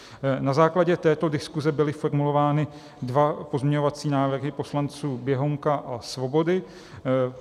Na základě této diskuse byly formulovány dva pozměňovací návrhy poslanců Běhounka a Svobody.